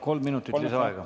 Kolm minutit lisaaega.